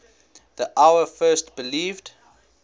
the hour first believed